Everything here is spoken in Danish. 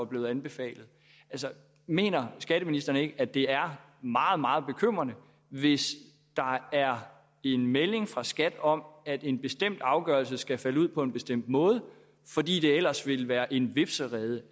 blevet anbefalet altså mener skatteministeren ikke at det er meget meget bekymrende hvis der er en melding fra skat om at en bestemt afgørelse skal falde ud på en bestemt måde fordi det ellers vil være en hvepserede